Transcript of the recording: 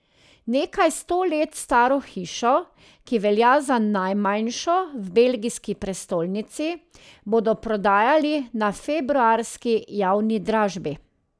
Nekaj sto let staro hišo, ki velja za najmanjšo v belgijski prestolnici, bodo prodajali na februarski javni dražbi.